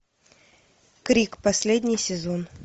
крик последний сезон